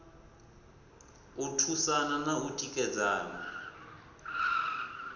u thusana na u tikedzana